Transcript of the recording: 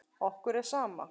Okkur er sama.